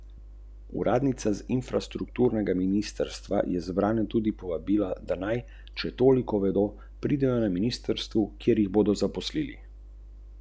Stopiti bi morali skupaj in obenem pogledati vase.